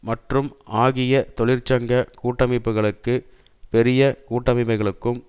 மற்றும் ஆகிய தொழிற்சங்க கூட்டமைப்புகளும் பெரிய கூட்டமைப்புகளும்